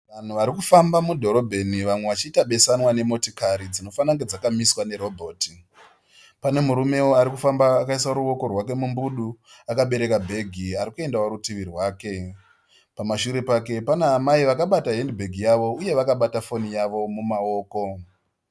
Vanhu vari kufamba mudhorobheni vamwe vachiita beswana nemotikari dzinofanirwa kunge dzakamiswa nerobhoti. Pane murumewo ari kufamba akaisa ruoko rwake mumbudu akabereka bhegi ari kuendawo rutivi rwake. Pamashure pake pana amai vakabata hendibhegi yavo uye vakabata foni yavo mumaoko.